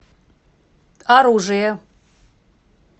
оружие